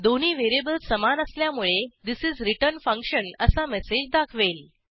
दोन्ही व्हेरिएबल्स समान असल्यामुळे थिस इस रिटर्न फंक्शन असा मेसेज दाखवेल